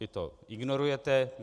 Vy to ignorujete.